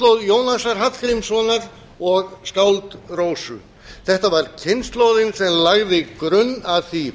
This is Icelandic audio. ár þetta var kynslóð jónasar hallgrímssonar og skáld rósu þetta var kynslóðin sem lagði grunn að því